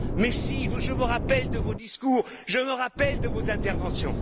Mais si, je me rappelle de vos discours, je me rappelle de vos interventions.